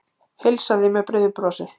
Heilsaði með breiðu brosi.